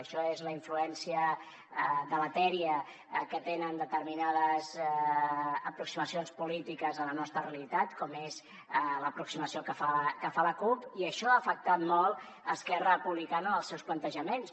això és la influència de la dèria que tenen determinades aproximacions polítiques a la nostra realitat com és l’aproximació que hi fa la cup i això ha afectat molt esquerra republicana en els seus plantejaments